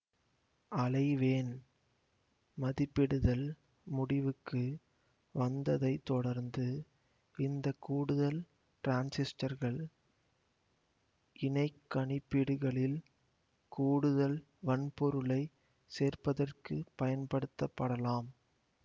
அலைவேண் மதிப்பிடுதல் முடிவுக்கு வந்ததைத் தொடர்ந்து இந்த கூடுதல் டிரான்சிஸ்டர்கள் இணைக் கணிப்பீடுகளில் கூடுதல் வன்பொருளைச் சேர்ப்பதற்குப் பயன்படுத்தப்படலாம்